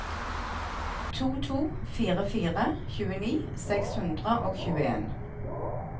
to to fire fire tjueni seks hundre og tjueen